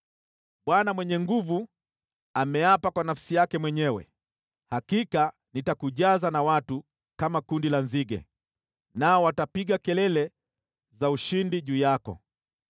Bwana Mwenye Nguvu Zote ameapa kwa nafsi yake mwenyewe: ‘Hakika nitakujaza na watu, kama kundi la nzige, nao watapiga kelele za ushindi juu yako.’